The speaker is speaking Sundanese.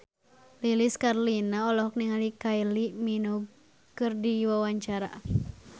Lilis Karlina olohok ningali Kylie Minogue keur diwawancara